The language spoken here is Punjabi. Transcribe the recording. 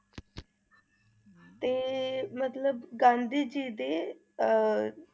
ਤੇ ਮਤਲਬ ਗਾਂਧੀ ਜੀ ਦੇ ਅਹ